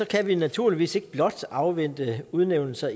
kan vi naturligvis ikke blot afvente udnævnelser